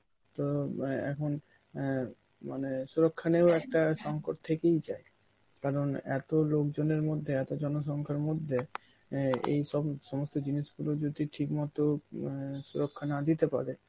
তো আঁ এখন অ্যাঁ মানে সুরক্ষা নিয়েও একটা সংকট থেকেই যায় কারণ এত লোকজনের মধ্যে, এত জনসংখ্যার মধ্যে অ্যাঁ এইসব সমস্ত জিনিসগুলো যদি ঠিক মতন অ্যাঁ সুরক্ষা না দিতে পারে